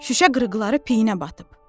Şüşə qırıqları peyinə batıb.